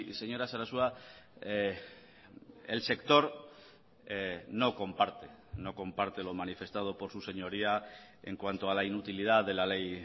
señora sarasua el sector no comparte no comparte lo manifestado por su señoría en cuanto a la inutilidad de la ley